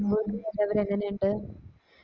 അവിടെ എങ്ങനെ ഇണ്ട്